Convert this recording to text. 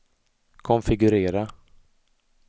konfigurera